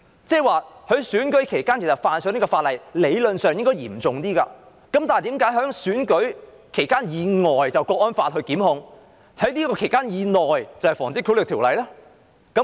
在選舉期間犯例，理論上應較為嚴重，但何以選舉期以外的行為會按《香港國安法》作出檢控，選舉期以內的則按《防止賄賂條例》處理？